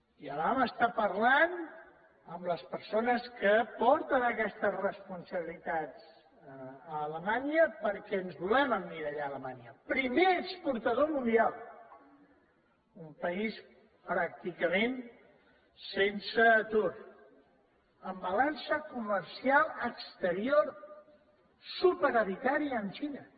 ja vam estar parlant amb les persones que porten aquestes responsabilitats a alemanya perquè ens volem emmirallar en alemanya primer exportador mundial un país pràcticament sense atur amb balança comercial exterior superavitària amb la xina